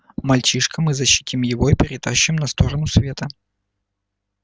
мальчишка мы защитим его и перетащим на сторону света